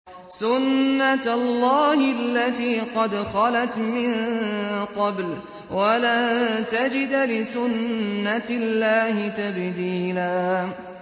سُنَّةَ اللَّهِ الَّتِي قَدْ خَلَتْ مِن قَبْلُ ۖ وَلَن تَجِدَ لِسُنَّةِ اللَّهِ تَبْدِيلًا